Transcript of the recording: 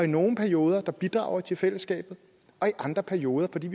nogle perioder bidrager til fællesskabet og i andre perioder når de